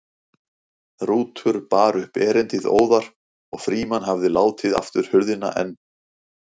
Rútur bar upp erindið óðar og Frímann hafði látið aftur hurðina en